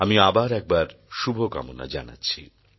আমি আবার একবার শুভকামনা জানাচ্ছি